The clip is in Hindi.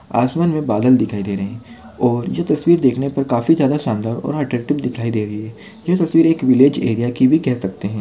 आसमान मे बादल दिखाई दे रहे और ये तस्वीर देखने पर काफी ज्यादा शानदार और एट्रैक्टिव दिखाई दे रही है ये तस्वीर एक विलेज एरिया की भी कह सकते है।